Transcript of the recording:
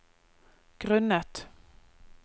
grunnet